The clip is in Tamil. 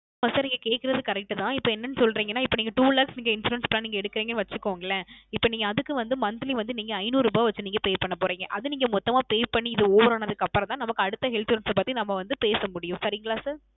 அஹ் Sir நீங்க கேட்குறது Correct தான் இப்போ என்னனு சொல்றிங்கனா இப்போ Two lakhs insurance plan எடுக்குறிங்கனு வச்சுக்கோங்களேன் இப்போ நீங்க அதுக்கு வந்து Monthly வந்து ஐநூறு ரூபா வந்து Pay பண்ண போறிங்க அது நீங்க மொத்தமா Pay பண்ணி இது Over ஆனதுக்கு அப்புறம் தான் நமக்கு அடுத்து Insurance பத்தி நம்ம வந்து பேச முடியும் சரிங்களா Sir